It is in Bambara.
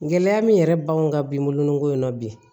Gɛlɛya min yɛrɛ b'anw ka bin bolonko in na bi